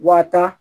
Wa ta